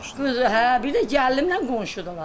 Qız, hə, bir də gəlinimlə qonşudular.